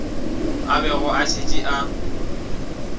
a bego a šetše a